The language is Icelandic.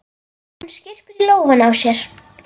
Hún skyrpir í lófana á sér.